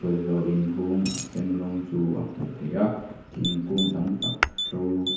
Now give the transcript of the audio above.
inhung a sen rawng chu a hmuh theih a thingkung tam tak ṭo--